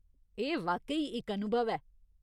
एह् वाकई इक अनुभव ऐ।